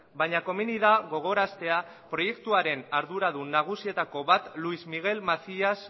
baina komeni da gogoraztea proiektuaren arduradun nagusienetako bat luis miguel macías